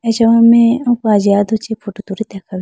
acha me oko ajiga do chee photo tulite kha wuyi.